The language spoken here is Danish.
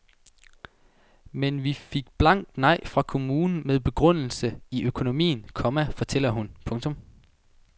Men vi fik blankt nej fra kommunen med begrundelse i økonomien, komma fortæller hun. punktum